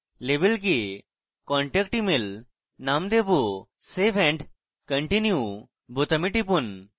label কে contact email name দেবো save and continue বোতামে টিপুন